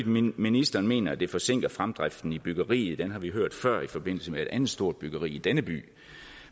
ministeren mener at det forsinker fremdriften i byggeriet den har vi hørt før i forbindelse med et andet stort byggeri i denne by